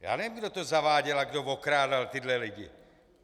Já nevím, kdo to zaváděl a kdo okrádal tyhle lidi?